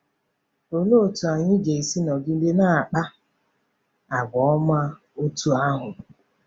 Olee otú anyị ga-esi nọgide na-akpa àgwà ọma otú ahụ?